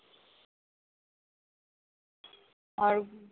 আর